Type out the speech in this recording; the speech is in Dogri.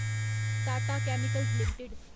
Tata chemicals limited